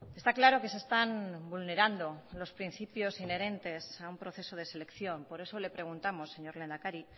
está claro que se están vulnerando los principios inherentes a un proceso de selección por eso le preguntamos señor lehendakari